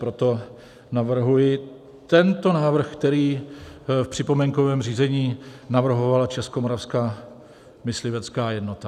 Proto navrhuji tento návrh, který v připomínkovém řízení navrhovala Českomoravská myslivecká jednota.